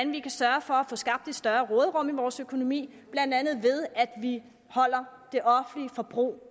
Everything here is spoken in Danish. vi kan sørge for at få skabt et større råderum i vores økonomi blandt andet at vi holder det offentlige forbrug